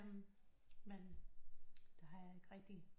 Men det har jeg ikke rigtig